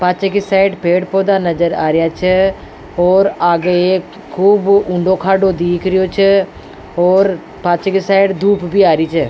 पाछे के साइड पेड़ पौधा नज़र आ रेहा छ और आगे एक खूब ऊंडो खाडो दिख रिहो छ और पाछे के साइड धुप भी आ री छ।